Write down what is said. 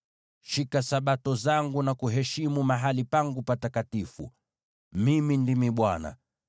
“ ‘Shika Sabato zangu na kuheshimu mahali pangu patakatifu. Mimi ndimi Bwana .